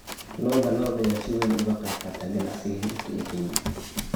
Lo'da lo'da ayaa si weyn uga qaybqaata ganacsiga hilibka ee Kenya.